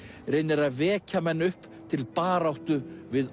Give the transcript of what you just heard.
reynir að vekja menn upp til baráttu við